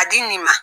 A di nin ma